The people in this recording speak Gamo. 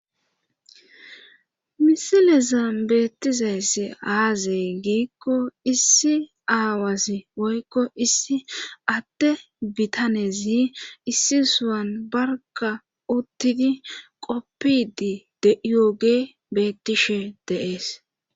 Misilezan beettiza issa aaze giikko issi aawasi woykko issi adde bitanezi issi sohuwan barkka uttidi qoppidi diyaage bettishe dees.